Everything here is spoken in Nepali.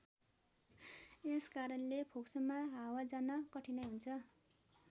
यस कारणले फोक्सोमा हावा जान कठिनाइ हुन्छ।